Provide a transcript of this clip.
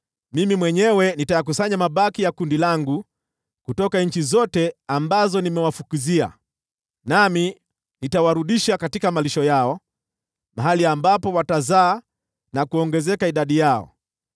“Mimi mwenyewe nitayakusanya mabaki ya kundi langu kutoka nchi zote ambazo nimewafukuzia, nami nitawarudisha katika malisho yao, mahali ambapo watazaa na kuongezeka idadi yao.